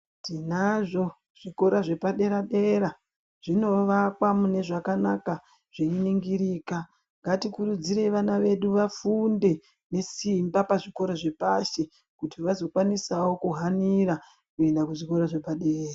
Tinazvo zvikora zvepadera dera zvinovakwa munezvakanaka zveiningirika ngatikurudzirei vana vedu vafunde nesimba pazvikora zvepashi kuti vazokwanisawo kuhanira kuenda kuzvikora zvepadera.